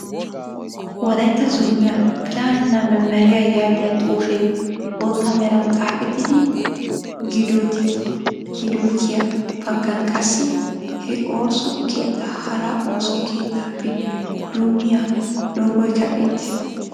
Wolaytta zooniyaa pilaaninna memeriya yaagiyaa xuufee bootta meran xaafetidi giddottiyaa baggan qassi, he ooso keettaa hara ooso keettaappe dummiyaa loogoykka beettees.